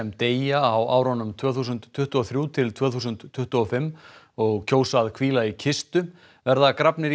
deyja á árunum tvö þúsund tuttugu og þrjú til tvö þúsund tuttugu og fimm og kjósa að hvíla í kistu verða grafnir í